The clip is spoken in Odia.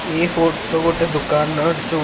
ଏ ଫୋଟୋ ଗୋଟେ ଦୋକାନର ଯୋଉ--।